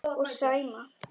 Og Sæma.